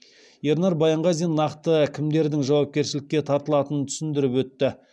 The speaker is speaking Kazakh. ернар баянғазин нақты кімдердің жауапкершілікке тартылатынын түсіндіріп өтті